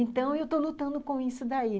Então, eu estou lutando com isso daí.